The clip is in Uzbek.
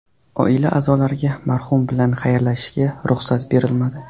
Oila a’zolariga marhum bilan xayrlashishga ruxsat berilmadi.